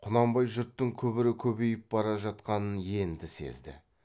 құнанбай жұрттың күбірі көбейіп бара жатқанын енді сезді